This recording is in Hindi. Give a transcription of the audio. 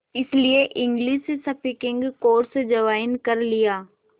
इसलिए इंग्लिश स्पीकिंग कोर्स ज्वाइन कर लिया